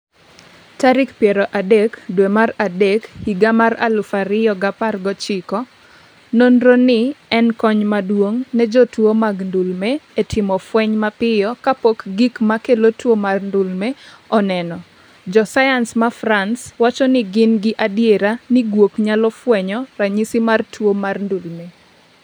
30 tarik piero adek dwe mar adek higa mar aluf ariyo gi apar gochiko Nonro ni en kony maduong’ ne jotuwo mag ndulme, e timo fweny mapiyo kapok gik ma kelo tuwo mar ndulme oneno. josayans Mafrance wacho ni gin gi adiera ni guok nyalo fwenyo ranyisi mar tuwo mar ndulme